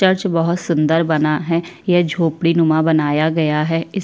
church बहुत सुंदर बना है ये झोपड़ी नुमा बनाया गया है इस--